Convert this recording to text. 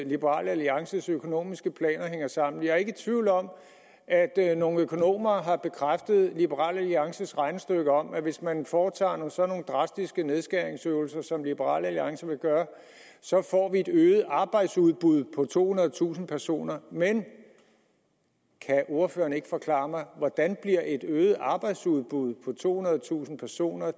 liberal alliances økonomiske planer hænger sammen jeg er ikke i tvivl om at nogle økonomer har bekræftet liberal alliances regnestykke om at hvis man foretager sådan drastiske nedskæringsøvelser som liberal alliance vil gøre så får vi et øget arbejdsudbud på tohundredetusind personer men kan ordføreren ikke forklare mig hvordan et øget arbejdsudbud på tohundredetusind personer